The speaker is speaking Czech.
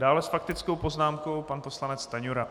Dále s faktickou poznámkou pan poslanec Stanjura.